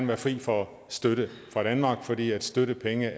være fri for støtte fra danmark fordi støttepenge